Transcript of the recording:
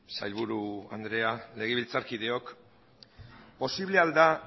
sailburu andrea legebiltzarkideok posible al da